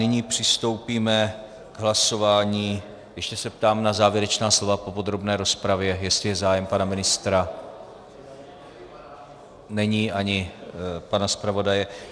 Nyní přistoupíme k hlasování - ještě se ptám na závěrečná slova po podrobné rozpravě, jestli je zájem, pana ministra, není, ani pana zpravodaje.